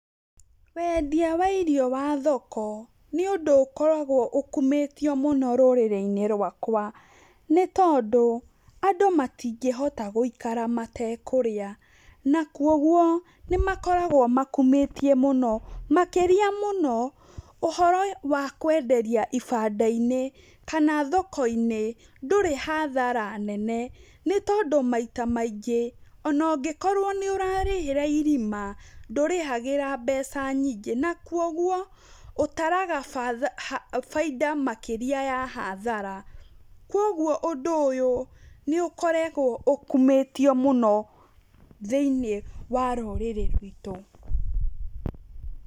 Wendia wa irio wa thoko, nĩ ũndũ ũkoragwo ũkumĩtio mũno rũrĩrĩ-inĩ rwakwa. Nĩ tondũ, andũ matingĩhota gũikara matekũrĩa, na kogwo, nĩ makoragwomakumĩtie mũno, makĩra mũno, ũhoro wa kwenderia ibanda inĩ, kana thoko-inĩ ndũrĩ hathara nene, n ĩtondũ maita maingĩ, ona ũngĩkorwo nĩ ũrarĩhĩra irima, ndũrĩhagĩra mbeca nyingĩ, na koguo, ũtaraga bainda makĩria ya hathara. Kogwo ũndũ ũyũ, nĩ ũkoragwo ũkumĩtio mũno thĩiniĩ wa rũrĩrĩ rwitũ.